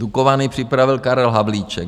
Dukovany připravil Karel Havlíček.